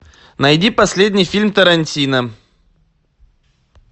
найди последний фильм тарантино